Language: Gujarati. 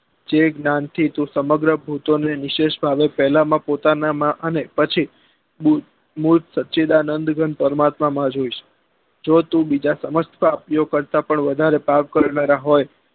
જે જ્ઞાન થી તું સમગ્ર ભૂતો ને નિશેષ ભાવે પેલા માં પોતાના માં અને પછી બુદ્ધ સચિદાનંદ ગ્રંથ પરમાત્મા માં જોઇસ જો તો બીજા સમસ્ત પાપીઓ કરતા પણ વધારે પાપ કરનારા હોય